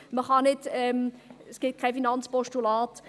Man kann nicht, es gibt kein Finanzpostulat.